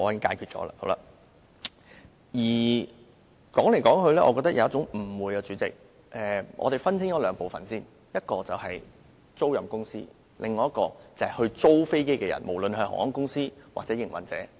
主席，說來說去，我覺得當中存在一個誤會，我們先分清兩部分，一部分是租賃公司，另一部分是承租人，不論是航空公司還是營運者。